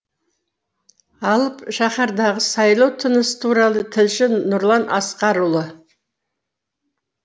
алып шаһардағы сайлау тынысы туралы тілші нұрлан асқарұлы